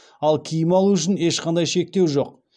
ал киім алу үшін ешқандай шектеу жоқ